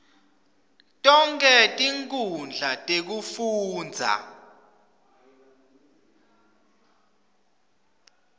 tonkhe tinkhundla tekufundza